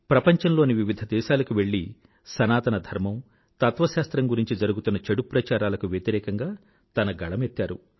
ప్రపంచంలోని వివిధ దేశాలకు వెళ్లి సనాతన ధర్మం తత్వశాస్త్రం గురించి జరుగుతున్న చెడు ప్రచారాలకు వ్యతిరేకంగా తన గళమెత్తారు